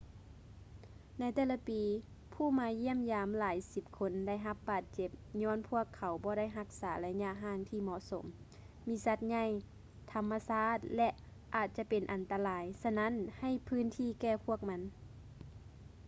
ໃນແຕ່ລະປີ ຜູ້ມາຢ້ຽມຢາມຫຼາຍສິບຄົນໄດ້ຮັບບາດເຈັບຍ້ອນພວກເຂົາບໍ່ໄດ້ຮັກສາໄລຍະຫ່າງທີເໝາະສົມ ມີສັດໃຫຍ່ ທຳມະຊາດ ແລະ ອາດຈະເປັນອັນຕະລາຍ ສະນັ້ນໃຫ້ພື້ນທີ່ແກ່ພວກມັນ